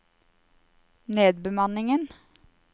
nedbemanningen